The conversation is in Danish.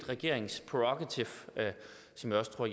regeringsprærogativ som jeg også tror